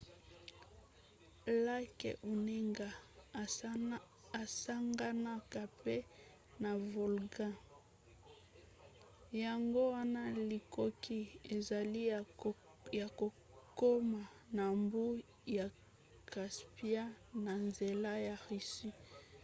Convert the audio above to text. lake onega esanganaka mpe na volga yango wana likoki ezali ya kokoma na mbu ya caspian na nzela ya russie